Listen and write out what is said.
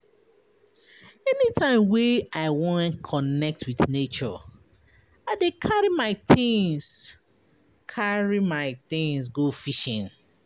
Anytime wey I wan connect wit nature, I dey carry my tins carry my tins go fishing.